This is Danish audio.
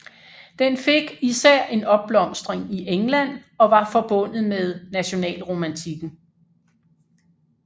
Den fik især en opblomstring i England og var forbundet med nationalromantikken